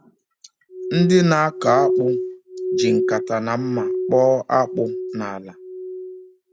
Ndị na-akọ akpụ ji nkata na mma kpọọ akpụ n’ala.